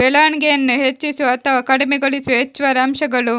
ಬೆಳವಣಿಗೆಯನ್ನು ಹೆಚ್ಚಿಸುವ ಅಥವಾ ಕಡಿಮೆಗೊಳಿಸುವ ಹೆಚ್ಚುವರಿ ಅಂಶಗಳು